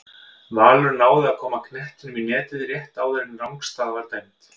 Valur náði að koma knettinum í netið rétt áðan en rangstaða var dæmd.